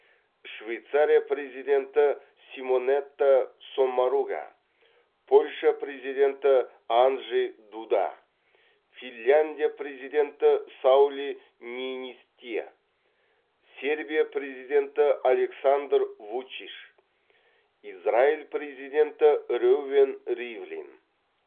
швейцария президенті симонетта соммаруга польша президенті анджей дуда финляндия президенті саули ниинисте сербия президенті александр вучич израиль президенті реувен ривлин